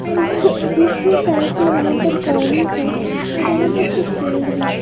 और दूसरी साइड से वहां पर पानी है और वहां पर कुछ पेड़ भी हैं।